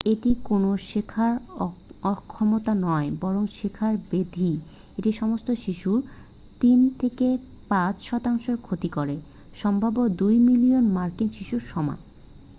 এটি কোনো শেখার অক্ষমতা নয় বরং শেখার ব্যাধি এটি সমস্ত শিশুর 3-5 শতাংশের ক্ষতি করে সম্ভাব্য 2 মিলিয়ন মার্কিন শিশুর সমান